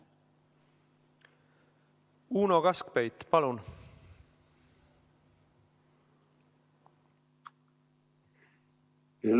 Uno Kaskpeit, palun!